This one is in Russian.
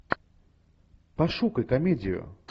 пошукай комедию